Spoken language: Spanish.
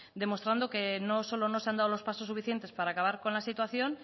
demostrando que no solo no se han dado los pasos suficiente para acabar con la situación